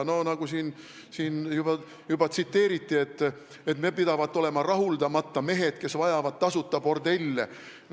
Nagu siin juba tsiteeriti, me pidavat olema rahuldamata mehed, kes vajavad tasuta bordelle.